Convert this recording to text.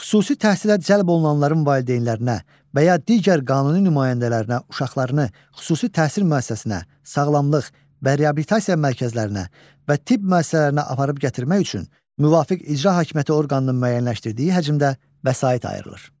Xüsusi təhsilə cəlb olunanların valideynlərinə və ya digər qanuni nümayəndələrinə uşaqlarını xüsusi təhsil müəssisəsinə, sağlamlıq və reabilitasiya mərkəzlərinə və tibb müəssisələrinə aparıb gətirmək üçün müvafiq icra hakimiyyəti orqanının müəyyənləşdirdiyi həcmdə vəsait ayrılır.